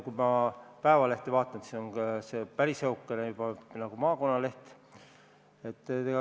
Kui ma Eesti Päevalehte vaatan, siis on ka see juba päris õhukene nagu maakonnaleht.